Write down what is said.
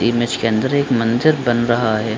Image के अंदर एक मंदिर बन रहा है ।